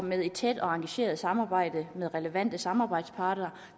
med et tæt og engageret samarbejde med relevante samarbejdspartnere